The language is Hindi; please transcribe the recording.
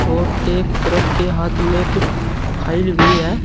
और एक औरत के हाथ में कुछ फाइल भी है।